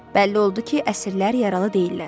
Bəlli oldu ki, əsirlər yaralı deyillər.